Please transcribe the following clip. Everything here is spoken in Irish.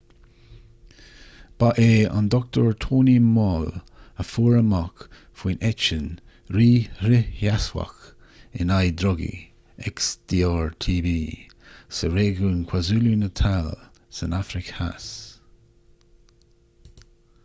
ba é dr. tony moll a fuair amach faoin eitinn rí-fhrithsheasmhach in aghaidh drugaí xdr-tb sa réigiún kwazulu-natal san afraic theas